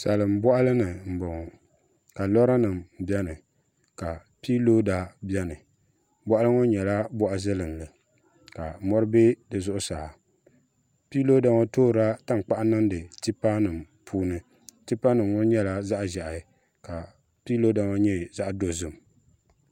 salinbɔɣili ni m-bɔŋɔ ka lɔranima beni ka piiloda beni bɔɣili ŋɔ nyɛla bɔɣ' zilinlli ka mɔri be di zuɣusaa piiloda ŋɔ toorila tankpaɣu niŋdi tipanima puuni tipanima ŋɔ nyɛla zaɣ' ʒehi ka piiloda ŋɔ nyɛ zaɣ' dozim